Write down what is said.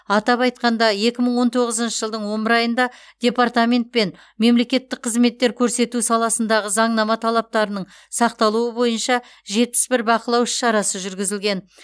атап айтқанда екі мың он тоғызыншы жылдың он бір айында департаментпен мемлекеттік қызметтер көрсету саласындағы заңнама талаптарының сақталуы бойынша жетпіс бір бақылау іс шарасы жүргізілген